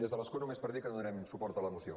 des de l’escó només per dir que donarem suport a la moció